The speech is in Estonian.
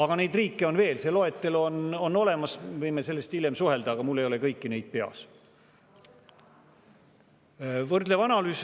Ja neid riike on veel, see loetelu on olemas, võime sel hiljem suhelda, aga mul ei ole need kõik peas.